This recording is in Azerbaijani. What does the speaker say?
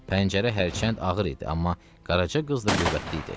Pəncərə hərçənd ağır idi, amma Qaraca qız da qüvvətli idi.